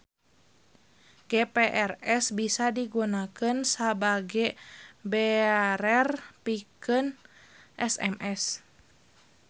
GPRS bisa digunakeun sabage bearer pikeun SMS.